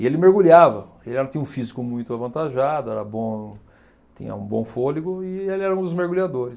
E ele mergulhava, ele era tinha um físico muito avantajado, era bom, tinha um bom fôlego e ele era um dos mergulhadores.